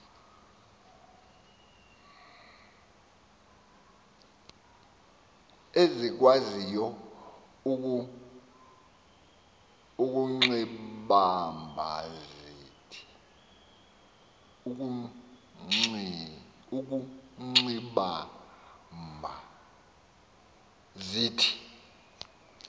ezikwaziyo ukuxibamba zithi